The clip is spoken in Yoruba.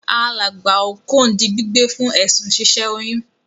Alàgbà Okon di gbígbé fún èsùn si sẹ oyún